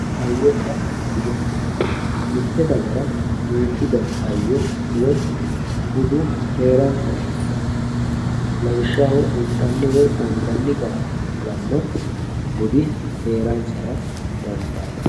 hayyonna bude mitte dagara duuchu dani hayyo woye budu heeransara dandaanno lawishshaho intanni woyi anganni gara kulanno budi heeransara dandaano.